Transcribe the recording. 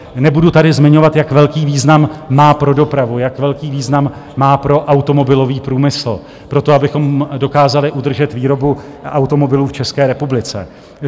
Nebudu tady zmiňovat, jak velký význam má pro dopravu, jak velký význam má pro automobilový průmysl, pro to, abychom dokázali udržet výrobu automobilů v České republice.